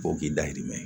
Fo k'i dayirimɛ